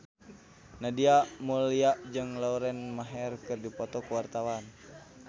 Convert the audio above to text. Nadia Mulya jeung Lauren Maher keur dipoto ku wartawan